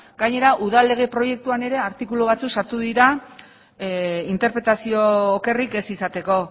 gainera udal lege proiektuan ere artikulu batzuk sartu dira interpretazio okerrik ez izateko